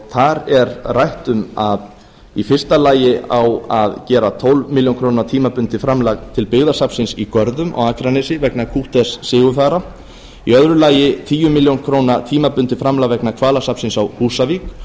þar er rætt um að í fyrsta lagi á að gera tólfta milljónir króna tímabundið framlag til byggðasafnsins í görðum á akranesi vegna kútters sigurfara í öðru lagi tíu milljónir króna tímabundið framlag vegna hvalasafnsins á húsavík